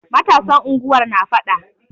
Matasan unguwar na faɗa.